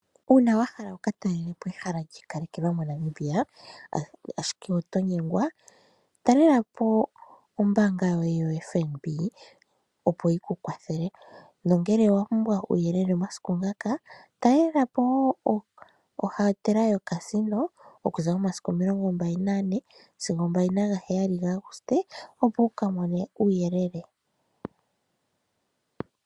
Uuna wa hala wu ka talele po ehala lyiikalekelwa moNamibia ashike oto nyengwa, talela po ombaanga yoye yoFNB opo yi ku kwathele, nongele owa pumbwa uuyelele omasiku ngaka, talela po ohotela yoCasino okuza momasiku 24 sigo 27 gaAguste opo wuka mone uuyelele.